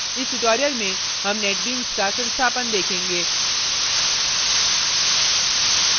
इस tutorial में हम netbeans का संस्थापन देखेंगे